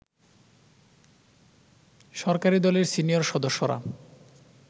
সরকারি দলের সিনিয়র সদস্যরা